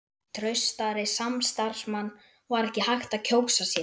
Traustari samstarfsmann var ekki hægt að kjósa sér.